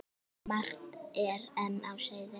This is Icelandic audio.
Margt er enn á seyði.